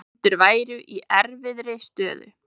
Bændur væru í erfiðri stöðu